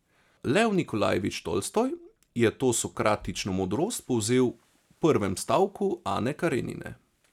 Lev Nikolajevič Tolstoj je to sokratično modrost povzel v prvem stavku Ane Karenine.